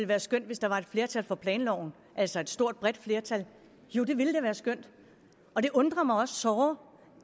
være skønt hvis der var et flertal for planloven altså et stort bredt flertal jo det ville da være skønt og det undrer mig også såre